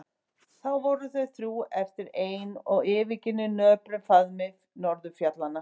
Þá voru þau þrjú eftir ein og yfirgefin í nöprum faðmi norðurfjallanna.